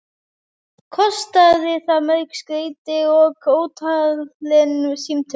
Kostaði það mörg skeyti og ótalin símtöl.